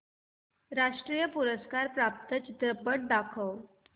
राष्ट्रीय पुरस्कार प्राप्त चित्रपट दाखव